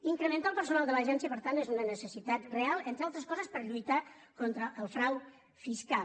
incrementar el personal de l’agència per tant és una necessitat real entre altres coses per a lluitar contra el frau fiscal